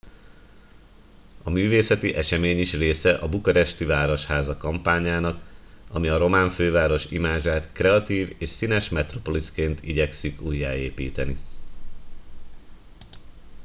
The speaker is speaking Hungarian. a művészeti esemény is része a bukaresti városháza kampányának ami a román főváros imázsát kreatív és színes metropoliszként igyekszik újjáépíteni